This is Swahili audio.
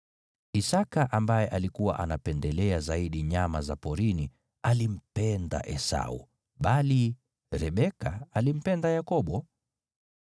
Isaki, ambaye alikuwa anapendelea zaidi nyama za porini, alimpenda Esau, bali Rebeka alimpenda Yakobo.